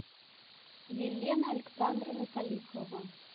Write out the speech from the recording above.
елена александровна салихова